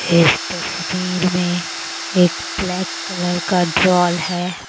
इस तस्वीर में एक ब्लैक कलर का ड्रोल है।